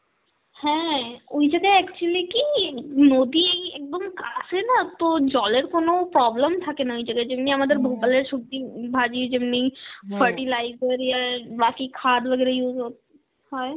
হ্যাঁ, ওই জায়গায় actually কি নদী একদম কাছে না, তো জলের কোন problem থাকে না ওই জায়গায়, যেমনি আমাদের ভোপালের সবজি উম ভাজি যেমনি fertilizer বাকি খাদ Hindi use হ~ হয়